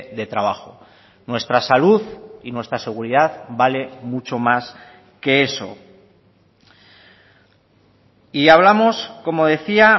de trabajo nuestra salud y nuestra seguridad vale mucho más que eso y hablamos como decía